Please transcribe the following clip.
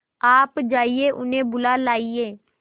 आप जाइए उन्हें बुला लाइए